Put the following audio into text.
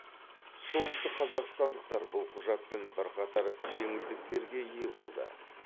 солтүстікқазақстандықтар бұл құжатпен бірқатар жеңілдіктерге ие болды